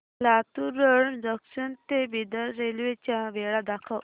Latur road junction ते Bidar railway च्या वेळा दाखव